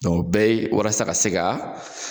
o be ye walasa ka se ka